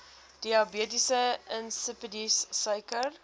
diabetes insipidus suiker